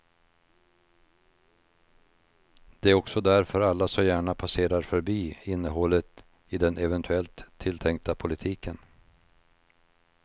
Det är också därför alla så gärna passerar förbi innehållet i den eventuellt tilltänkta politiken.